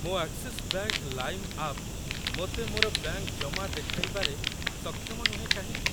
ମୋ Axis Bank Lime app ମୋତେ ମୋର ବ୍ୟାଙ୍କ୍‌ ଜମା ଦେଖାଇବାରେ ସକ୍ଷମ ନୁହେଁ କାହିଁକି?